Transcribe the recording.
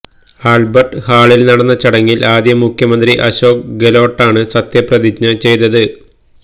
Albert ഹാളിൽ നടന്ന ചടങ്ങിൽ ആദ്യം മുഖ്യമന്ത്രി അശോക് ഗെലോട്ടാണ് സത്യപ്രതിജ്ഞ ചെയ്തത്